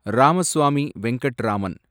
Ramaswamy Venkatraman